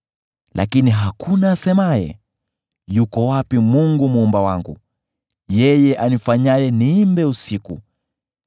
Lakini hakuna asemaye, ‘Yuko wapi Mungu Muumba wangu, yeye anifanyaye niimbe usiku,